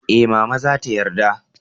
eh, mama za ta yarda